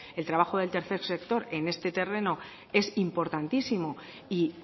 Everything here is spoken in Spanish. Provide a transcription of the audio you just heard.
el trabajo del tercer sector en este terreno es importantísimo y